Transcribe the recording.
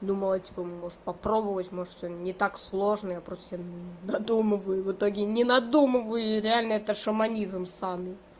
думала типа может попробовать может что не так сложно я просто себе додумываю и в итоге не надумываю реально это шаманизм ссаный